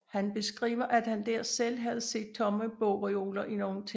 Han beskriver at han dér selv havde set tomme bogreoler i nogle templer